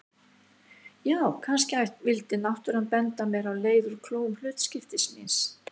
Já, kannski vildi náttúran benda mér á leið úr klóm hlutskiptis míns.